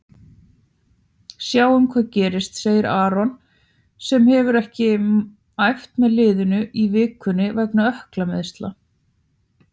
Sjáum hvað gerist, segir Aron sem hefur ekki æft með liðinu í vikunni vegna ökklameiðsla.